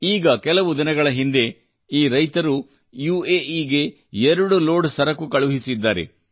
ಈಗ ಕೆಲವು ದಿನಗಳ ಹಿಂದೆ ಈ ರೈತರು ಯುಎಇಗೆ ಎರಡು ಲೋಡ್ ಸರಕು ಕಳುಹಿಸಿದ್ದಾರೆ